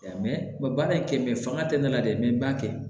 baara in kɛ fanga tɛ ne la dɛ n b'a kɛ